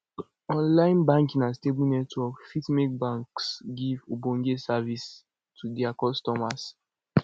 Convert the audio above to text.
online banking and stable network fit make banks give ogbonge service to their customers